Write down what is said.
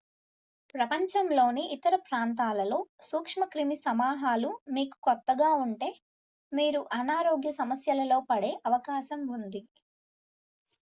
ప్రపంచంలోని ఇతర ప్రాంతాలలో సూక్ష్మక్రిమి సమాహాలు మీకు కొత్తగా ఉంటే మీరు అనారోగ్య సమస్యలలో పడే అవకాశం ఉంది